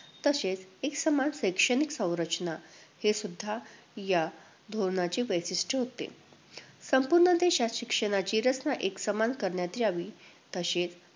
तसेच एकसमान शैक्षणिक संरचना, हे सुद्धा या धोरणाचे वैशिष्ट्य होते. संपूर्ण देशात शिक्षणाची रचना एकसमान करण्यात यावी, तसेच